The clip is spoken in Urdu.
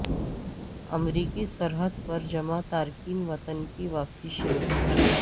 امریکی سرحد پر جمع تارکین وطن کی واپسی شروع